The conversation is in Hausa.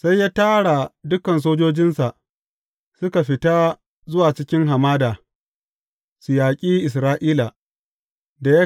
Sai ya tara dukan sojojinsa, suka fita zuwa cikin hamada, su yaƙi Isra’ila.